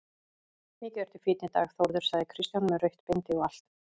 Mikið ertu fínn í dag Þórður, sagði Kristján, með rautt bindi og allt.